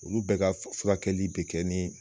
Olu bɛɛ ka furakɛli bɛ kɛ ni.